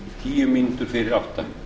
tíu mínútum fyrir átta